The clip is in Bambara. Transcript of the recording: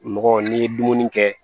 Mɔgɔ n'i ye dumuni kɛ